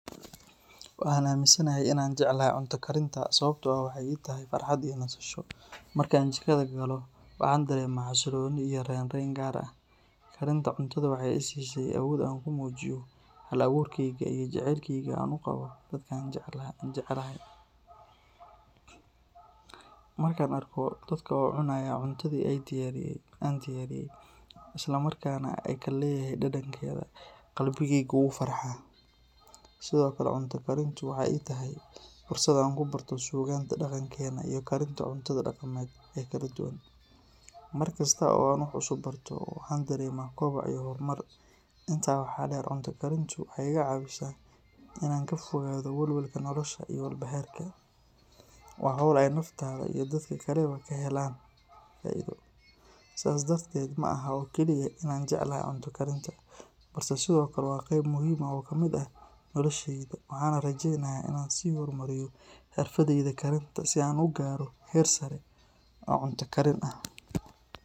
Waxaan aaminsanahay in aan jeclahay cunto karinta sababtoo ah waxay ii tahay farxad iyo nasasho. Marka aan jikada galo, waxaan dareemaa xasillooni iyo raynrayn gaar ah. Karinta cuntada waxay i siisay awood aan ku muujiyo hal-abuurkayga iyo jacaylka aan u qabo dadka aan jecelahay. Markaan arko dadka oo cunaya cuntadii aan diyaariyay, islamarkaana ay ka helayaan dhadhankeeda, qalbigaygu wuu farxaa. Sidoo kale, cunto karintu waxay ii tahay fursad aan ku barto suugaanta dhaqankeena iyo karinta cuntada dhaqameed ee kala duwan. Mar kasta oo aan wax cusub barto, waxaan dareemaa koboc iyo horumar. Intaa waxaa dheer, cunto karintu waxay iga caawisaa in aan ka fogaado walwalka nolosha iyo walbahaarka. Waa hawl ay naftaada iyo dadka kaleba ka helayaan faa’iido. Sidaas darteed, ma ahan oo keliya in aan jeclahay cunto karinta, balse sidoo kale waa qayb muhiim ah oo ka mid ah nolosheyda, waxaana rajeynayaa in aan sii horumariyo xirfaddayda karinta si aan u gaaro heer sare oo cunto karin ah.